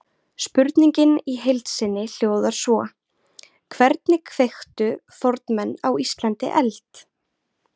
Spurningin í heild sinni hljóðar svo: Hvernig kveiktu fornmenn á Íslandi eld?